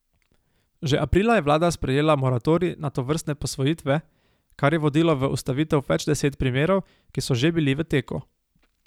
Že aprila je vlada sprejela moratorij na tovrstne posvojitve, kar je vodilo v ustavitev več deset primerov, ki so že bili v teku.